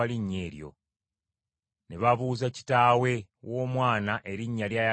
Ne babuuza kitaawe w’omwana erinnya ly’ayagala atuumibwe.